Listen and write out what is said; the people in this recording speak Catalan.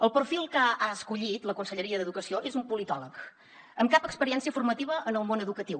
el perfil que ha escollit la conselleria d’educació és un politòleg amb cap experiència formativa en el món educatiu